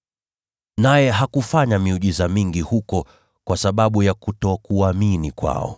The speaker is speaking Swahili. Naye hakufanya miujiza mingi huko kwa sababu ya kutokuamini kwao.